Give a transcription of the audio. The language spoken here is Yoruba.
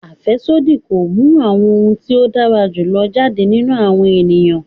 Afẹsodi ko mu awọn ti o dara julọ jade ninu awọn eniyan